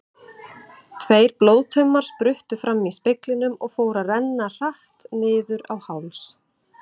Tveir blóðtaumar spruttu fram í speglinum og fóru að renna hratt niður á háls.